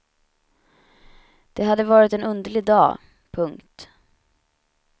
Det hade varit en underlig dag. punkt